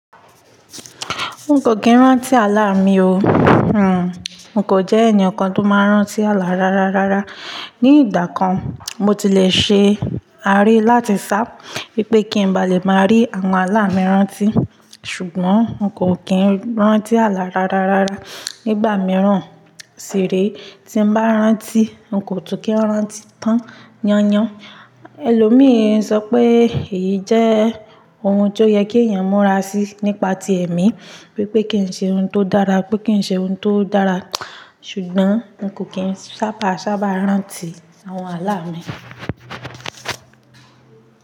N kò kí ń rántí àlá mi o. Hmmm. N kò jẹ́ ẹni kan tó máa ń rántí àlá rárárá. Rárá. Ni ìgbà kan, mo ti lè ṣe àáre láti sá bí pé kí n bá lè máa rí àwọn àlá mi rántí. Ṣùgbọ́n n kò kí ń rántí àlá rárárá. Nígbà mìíràn sì re tí n bá rántí, n kò tún kí rántí tán yányan. Ẹ̀lòmíràn sọ pé èyí jẹ́ ohun tó yẹ kí èèyàn múra sí nípa ti ẹ̀mí. Wípé kí ń ṣe ohun tó dára, pé kí ń ṣe ohun tó dára. Ṣùgbọ́n n kò kí ń sábà sábà rántí àwọn àlá mi.